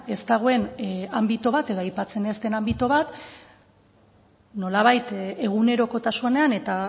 ez dagoen anbito bat edo aipatzen ez den anbito bat nolabait egunerokotasunean eta